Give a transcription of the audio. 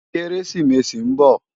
Kérésimési n bò